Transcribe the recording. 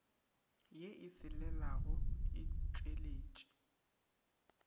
ye e selelago e tšweletše